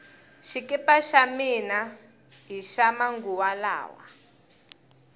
xikipa xa mina hixa manguva lawa